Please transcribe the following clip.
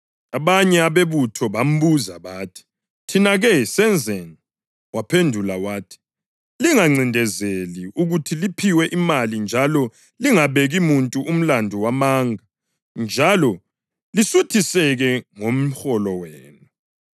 Abanye abebutho bambuza bathi, “Thina-ke senzeni?” Waphendula wathi, “Lingancindezeli ukuthi liphiwe imali njalo lingabeki muntu umlandu wamanga njalo lisuthiseke ngomholo wenu.”